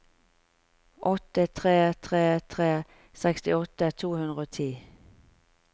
åtte tre tre tre sekstiåtte to hundre og ti